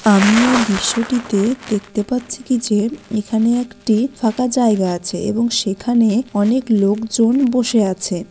আমি এই দৃশ্যটিতে দেখতে পাচ্ছি কি যে এখানে একটি ফাঁকা জায়গা আছে | এবং সেখানে অনেক লোকজন বসে আছে।